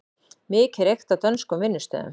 Mikið reykt á dönskum vinnustöðum